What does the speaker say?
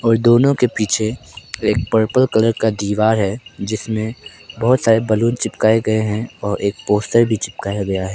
और दोनों के पीछे एक पर्पल कलर का दीवार है जिसमें बहोत सारे बलून चिपकाए गए हैं और एक पोस्टर भी चिपकाया गया है।